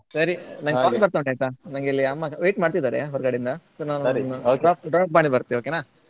ಸರಿ call ಬರ್ತಾ ಉಂಟು ನಂಗೆ ಇಲ್ಲಿ ಅಮ್ಮ wait ಮಾಡ್ತಿದ್ದಾರೆ ಹೊರಗಡೆಯಿಂದ . drop drop ಮಾಡಿ ಬರ್ತೇನೆ okay ನಾ